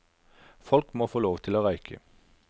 Folk må få lov til å røyke.